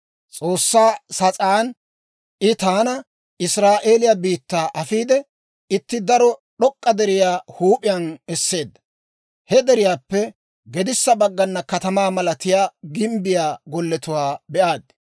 S'oossaa sas'aan I taana Israa'eeliyaa biittaa afiide, itti daro d'ok'k'a deriyaa huup'iyaan esseedda. He deriyaappe gedissa baggana katamaa malatiyaa gimbbiyaa golletuwaa be'aad.